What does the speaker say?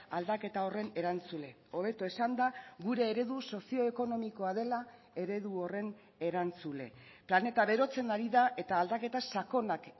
aldaketa horren erantzule hobeto esanda gure eredu sozioekonomikoa dela eredu horren erantzule planeta berotzen ari da eta aldaketa sakonak